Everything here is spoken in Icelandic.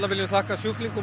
viljum þakka sjúklingum